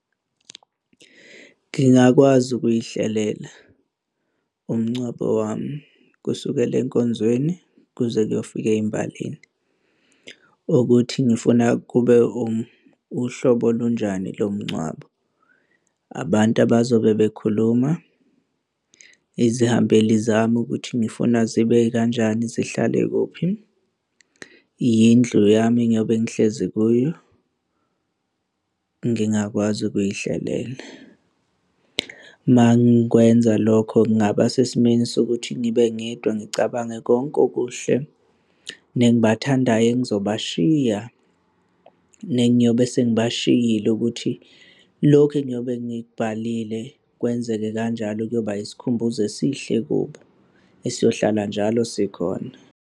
Ngingakwazi ukuy'hlelela umngcwabo wami kusukela enkonzweni kuze kuyofika ey'mbalini ukuthi ngifuna kube uhlobo olunjani lomngcwabo. Abantu abazobe bekhuluma, izihambeli zami ukuthi ngifuna zibe kanjani zihlale kuphi, yindlu yami engiyobe ngihlezi kuyo, ngingakwazi ukuy'hlelela. Uma ngikwenza lokho ngingaba sesimeni sokuthi ngibe ngedwa ngicabange konke okuhle nengibathandayo engizobashiya, nengiyobe sengibashiyile ukuthi lokhu engiyobe ngikubhalile kwenzeke kanjalo kuyoba yisikhumbuzo esihle kubo, esiyohlalela njalo sikhona.